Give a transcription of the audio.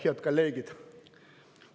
Head kolleegid!